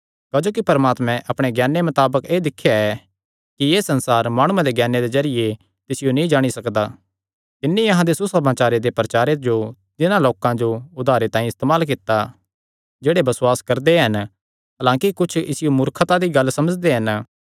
क्जोकि परमात्मे अपणे ज्ञाने मताबक एह़ दिख्या ऐ कि एह़ संसार माणुये दे ज्ञाने दे जरिये तिसियो नीं जाणी सकदा तिन्नी अहां दे सुसमाचारे दे प्रचारे जो तिन्हां लोकां दे उद्धारे तांई इस्तेमाल कित्ता जेह्ड़े बसुआस करदे हन हलांकि कुच्छ इसियो मूर्खता दी गल्ल समझदे हन